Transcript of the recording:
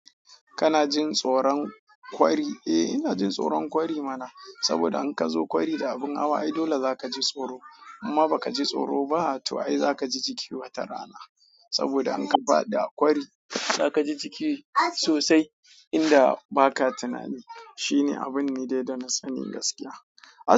Kana jin tsoron kwari? Eh, ina jin tsoron kwari mana, saboda in ka zo kwari da abin hawa, ai dole za ka ji tsoro. Mmma ba ka ji tsoro ba, to ai za ka ji jiki wata rana. Saboda in ka faɗi a kwari za ka ji jiki sosai indan ba ka tunani. Shine abun ne dai da na tsani gaskiya.